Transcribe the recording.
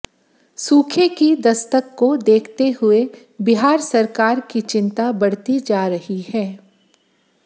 सूखे की दस्तक को देखते हुए बिहार सरकार की चिंता बढ़ती जा रही है